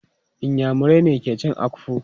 Inyamurai ne ke cin Akpu.